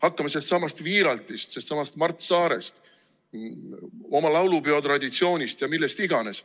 Hakkame sellestsamast Wiiraltist, sellestsamast Mart Saarest, oma laulupeotraditsioonist ja millest iganes.